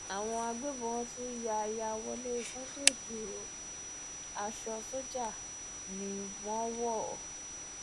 àwọn agbébọn tún yá yá wọlé sunday ìgboro aṣọ sójà ni wọ́n wọ̀